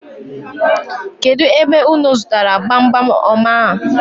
Kedụ ebe unu zụtara gbamgbam ọma a?